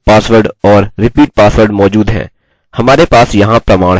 फिर हम लिखेंगे password और फिर हम कहेंगे